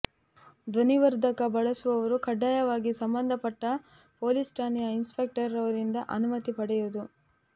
ಧ್ವನಿ ವರ್ಧಕ ಬಳಸುವವರು ಕಡ್ಡಾಯವಾಗಿ ಸಂಬಂಧಪಟ್ಟ ಪೊಲೀಸ್ ಠಾಣೆಯ ಇನ್ಸ್ಪೆಕ್ಟರ್ ರವರಿಂದ ಅನುಮತಿ ಪಡೆಯುವುದು